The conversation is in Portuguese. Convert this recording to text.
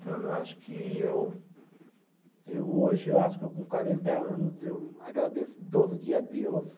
Então, eu acho que eu. Eu hoje, eu acho que eu com quarenta anos, eu agradeço todo dia a Deus.